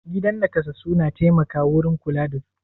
Gidan naƙasassu na taimaka wurin kula da su.